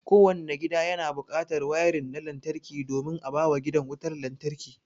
Kowanne gida yana buƙatar wayarin na lantarki domin a bawa gidan wutar lantarki.